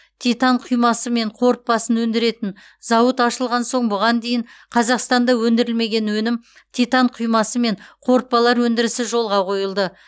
титан құймасы мен қорытпасын өндіретін зауыт ашылған соң бұған дейін қазақстанда өндірілмеген өнім титан құймасы мен қорытпалар өндірісі жолға қойылды